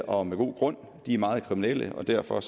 og med god grund de er meget kriminelle og derfor